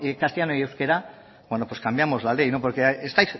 castellano y euskera bueno pues cambiamos la ley porque estáis